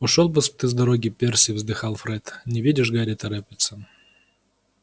ушёл бы ты с дороги перси вздыхал фред не видишь гарри торопится